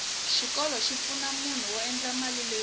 xikolo xi pfuna munhu ku endla mali leyo tala